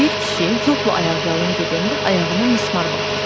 Bir kişi yolla ayaqyalın gedəndə ayağına mismar batır.